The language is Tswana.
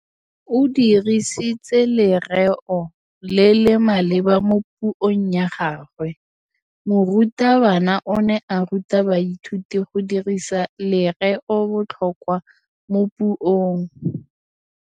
O dirisitse lerêo le le maleba mo puông ya gagwe. Morutabana o ne a ruta baithuti go dirisa lêrêôbotlhôkwa mo puong.